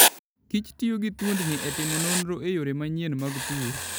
kichtiyo gi thuondni e timo nonro e yore manyien mag pur.